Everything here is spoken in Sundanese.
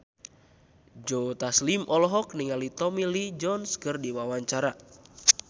Joe Taslim olohok ningali Tommy Lee Jones keur diwawancara